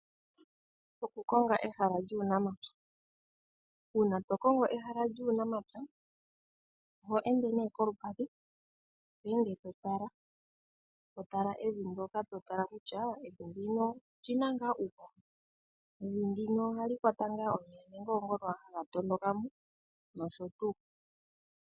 Okukonga ehala lyuunamapya. Uuna to kongo ehala lyuunamapya, oho ende kolupadhi to ende to tala. To tala evi ndyoka ngele oli na tuu uuhoho, ohali kwata tuu omeya nenge oongono owala haga tondoka mo nosho tuu.